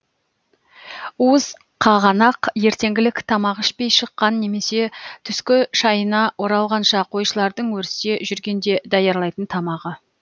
уыз қағанақ ертеңгілік тамақ ішпей шыққан немесе түскі шайына оралғанша қойшылардың өрісте жүргенде даярлайтын тамағы